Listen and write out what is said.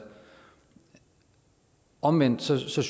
omvendt synes jeg